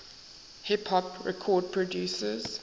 hip hop record producers